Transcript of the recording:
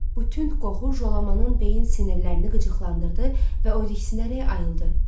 Bu tünd qoxu Jolamanın beyin sinirlərini qıcıqlandırdı və o riksinərək ayıldı.